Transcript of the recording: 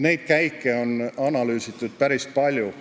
Neid käike on analüüsitud päris palju.